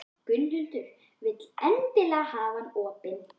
Gunnhildur vill endilega hafa hann opinn.